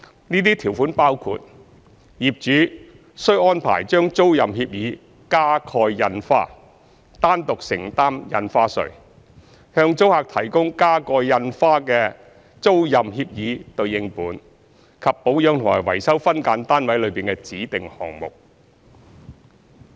這些條款包括：業主須安排將租賃協議加蓋印花、單獨承擔印花稅、向租客提供加蓋印花的租賃協議對應本，以及保養和維修分間單位內的指定項目。